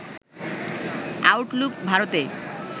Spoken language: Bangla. আউটলুক ভারতে